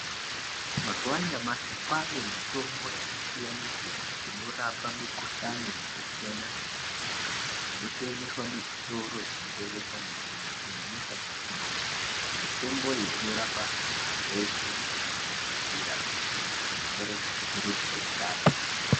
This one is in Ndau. Mazuva anyamashi kwane mitombo yaka siyana siyana inorapa mi kuhlani yaka siyana siyana inotengeswa mu zvitoro zvino tengesa mitombo ku nyanyisa mu madhorobha mitombo iyi inorapa zveshe kusanganisira zvirwere zvisizi ku jairikapi.